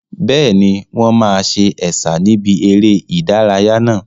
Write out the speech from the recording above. Bẹ́ẹ̀ni, wọn máa sa Ẹ̀sà níbi eré ìdárayá náà.